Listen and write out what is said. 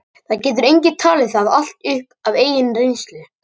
Það getur enginn talið það allt upp af eigin reynslu.